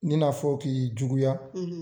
I n'a fɔ k'i juguya.